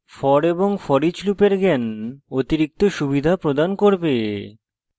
for এবং foreach লুপের জ্ঞান অতিরিক্ত সুবিধা প্রদান করবে